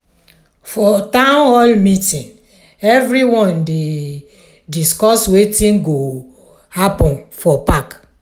for town hall meeting everyone dey discuss wetin go happen for park.